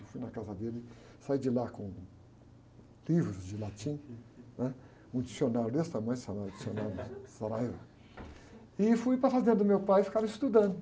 Eu fui na casa dele, saí de lá com livros de latim, né? Um dicionário desse tamanho, dicionário, e fui para a fazenda do meu pai e ficava estudando.